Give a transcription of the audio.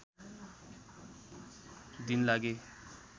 दिन लागे